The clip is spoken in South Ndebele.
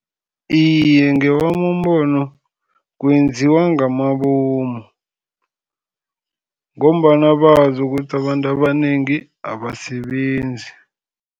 Iye, ngewami umbono kwenziwa ngamabomu, ngombana bazi ukuthi abantu abanengi abasebenzi.